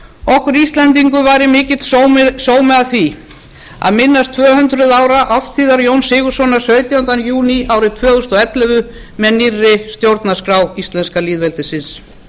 okkur íslendingum væri mikill sómi að því að minnast tvö hundruð ára árstíðar jóns sigurðssonar sautjánda júní árið tvö þúsund og ellefu með nýrri stjórnarskrá íslenska lýðveldisins